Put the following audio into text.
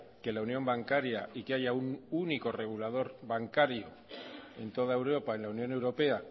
que la unión bancaria y que haya un único regulador bancario en toda europa en la unión europea